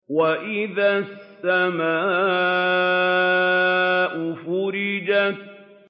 وَإِذَا السَّمَاءُ فُرِجَتْ